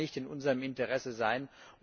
Das kann nicht in unserem Interesse sein.